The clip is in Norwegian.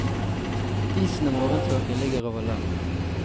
Disen og morgentåken ligger over land.